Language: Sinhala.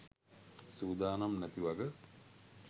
සූදානම් නැති වග.